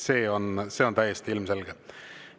See on täiesti ilmselge.